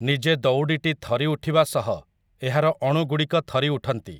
ନିଜେ ଦଉଡ଼ିଟି ଥରି ଉଠିବା ସହ ଏହାର ଅଣୁଗୁଡ଼ିକ ଥରି ଉଠନ୍ତି ।